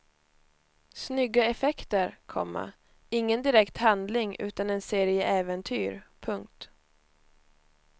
Snygga effekter, komma ingen direkt handling utan en serie äventyr. punkt